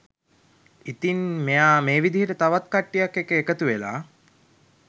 ඉතින් මෙයා මේ විදියට තවත් කට්ටියක් එක්ක එකතු වෙලා